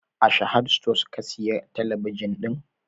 A Sahad stores ka siya talabijin ɗin?